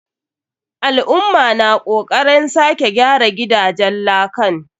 Al'umma na kokaren sake gyara gidajen lakan.